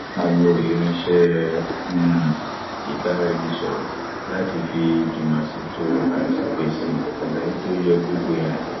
a lo irinṣẹ um ìbáraẹnisọrọ láti fi jùmọṣètò àti pèsè àlàyé tó ye gbogbo èèyàn